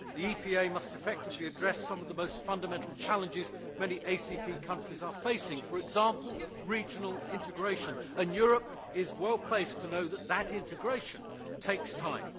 The EPA must effectively address some of the most fundamental challenges many ACP countries are facing, for example regional integration, and Europe is well placed to know that that integration takes time.